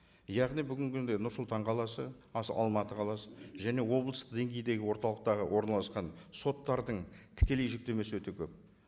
яғни бүгінгі күнде нұр сұлтан қаласы алматы қаласы және облыстық деңгейдегі орталықтағы орналасқан соттардың тікелей жүктемесі өте көп